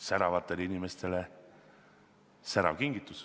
Säravatele inimestele särav kingitus.